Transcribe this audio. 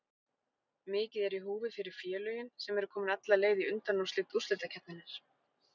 Mikið er í húfi fyrir félögin sem eru komin alla leið í undanúrslit úrslitakeppninnar.